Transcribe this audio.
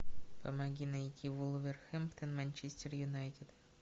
помоги найти вулверхэмптон манчестер юнайтед